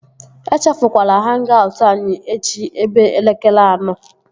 Echefukwala hang-aut anyị echi ebe elekere anọ!